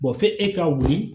f'e ka wuli